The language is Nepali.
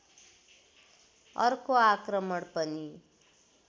अर्को आक्रमण पनि